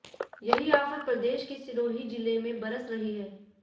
यही आफत प्रदेश के सिरोही जिले में बरस रही है